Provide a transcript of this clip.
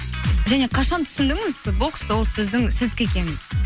және қашан түсіндіңіз сол бокс ол сіздің сіздікі екенін